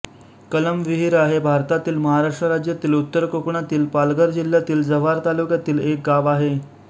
कलमविहिरा हे भारतातील महाराष्ट्र राज्यातील उत्तर कोकणातील पालघर जिल्ह्यातील जव्हार तालुक्यातील एक गाव आहे